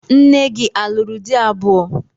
Nne gị a lụrụ di abụọ?